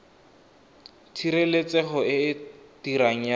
tshireletsego e e dirang ya